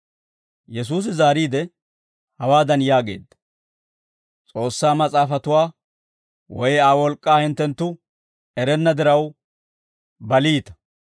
Yesuusi zaariide, hawaadan yaageedda; «S'oossaa Mas'aafatuwaa woy Aa wolk'k'aa hinttenttu erenna diraw baliita.